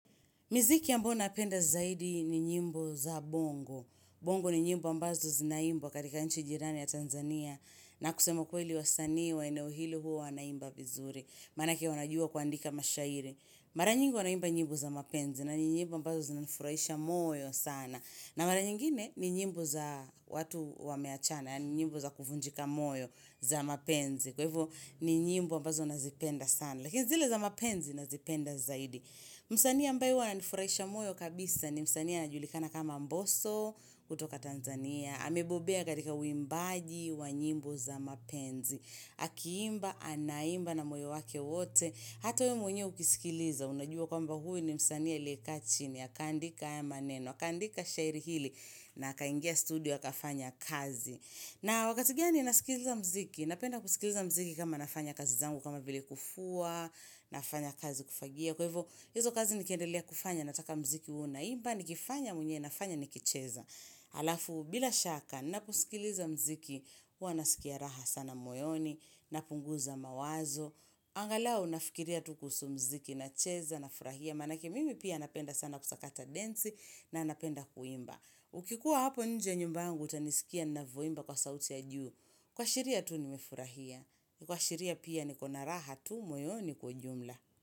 Miziki ambuyo napenda zaidi ni nyimbo za bongo. Bongo ni nyimbo ambazo zinaimbwa katika nchi jirani ya Tanzania. Na kusema ukweli wasanii wa eneo hilo huwa wanaimba vizuri. Manake wanajua kuandika mashairi. Mara nyingi wanaimba nyimbo za mapenzi. Na ni nyimbo ambazo zinaifurahisha moyo sana. Na mara nyingine ni nyimbo za watu wameachana. Yaani nyimbo za kuvunjika moyo za mapenzi. Kwa ivo ni nyimbo ambazo nazipenda sana. Lakini zile za mapenzi nazipenda zaidi. Msanii ambaye huwa ananifurahisha moyo kabisa ni msanii anajulikana kama mboso kutoka Tanzania. Amebobea katika uimbaji wa nyimbo za mapenzi Akiimba, anaimba na moyo wake wote Hata wewe mwenye ukisikiliza, unajua kwamba huyu ni msanii aliyekaa chini Akaandika haya maneno, akaandika shairi hili na akaingia studio, akafanya kazi na wakati gani nasikiliza mziki, napenda kusikiliza mziki kama nafanya kazi zangu kama vile kufua nafanya kazi kufagia kwa hivyo hizo kazi nikiendelea kufanya nataka mziki uwe unaimba nikifanya mwenye nafanya nikicheza alafu bila shaka na kusikiliza mziki Huwa nasikia raha sana moyoni napunguza mawazo angalao nafikiria tu kuhusu mziki nacheza nafurahia manake mimi pia napenda sana kusakata densi na napenda kuimba ukikuwa hapo nje nyumbangu utanisikia navoimba kwa sauti ya juu kuashiria tu nimefurahia kuashiria pia niko na raha tu moyoni kwa jumla.